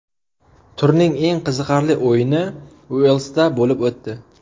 Turning eng qiziqarli o‘yini Uelsda bo‘lib o‘tdi.